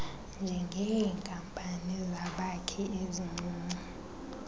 njengeenkampani zabakhi ezincinci